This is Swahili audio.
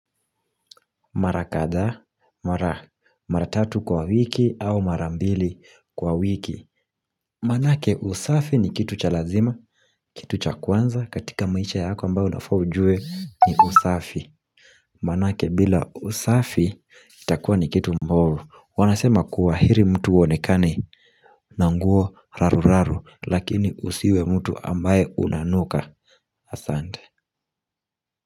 Mara kadhaa, mara, mara tatu kwa wiki au mara mbili kwa wiki Manake usafi ni kitu cha lazima, kitu cha kwanza katika maisha yako ambayo unafaa ujue ni usafi Manake bila usafi itakuwa ni kitu mbovu, wanasema kuwa heri mtu uonekane na nguo raruraru lakini usiwe mtu ambaye unanuka Asante.